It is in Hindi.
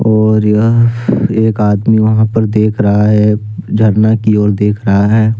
और यह एक आदमी वहां पर देख रहा है झरना की ओर देख रहा है।